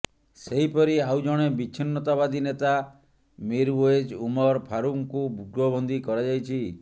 ସେହିପରି ଆଉ ଜଣେ ବିଚ୍ଛିନ୍ନତାବାଦୀ ନେତା ମିରୱେଜ ଉମର ଫାରୁକଙ୍କୁ ଗୃହବନ୍ଦୀ କରାଯାଇଛି